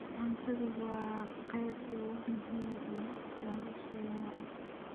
Cuntadu waa qayb muhiim ah oo nolosheenna ah.